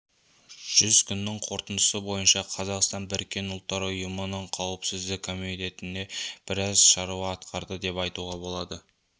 жүз күннің қорытындысы бойынша қазақстан біріккен ұлттар ұйымының қауіпсіздік кеңесінде біраз шаруа атқарды деп айтуға болады